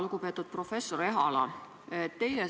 Lugupeetud professor Ehala!